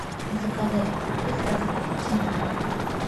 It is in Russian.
заказать крупы с доставкой на дом